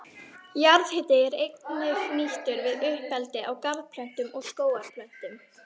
Jarðhiti er einnig nýttur við uppeldi á garðplöntum og skógarplöntum.